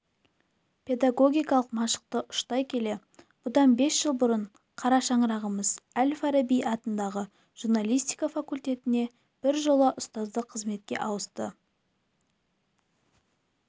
педагогтық машықты ұштай келе бұдан бес жыл бұрын қарашаңырағымыз әл-фараби атындағы журналистика факультетіне біржолата ұстаздық қызметке ауысты